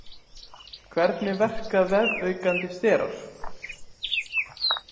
Hvernig verka vefaukandi sterar?